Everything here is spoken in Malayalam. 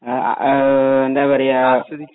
ഉം എന്താ പറയാ